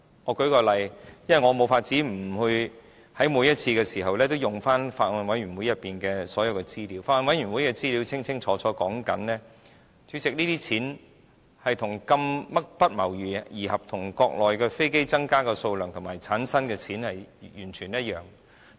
我舉例，因為我無法每次都引用法案委員會內所有資料，法案委員會的資料清楚指出，主席，這些錢不謀而合與國內飛機增加的數量及產生的金錢完全一樣。